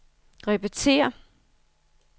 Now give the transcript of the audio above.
repetér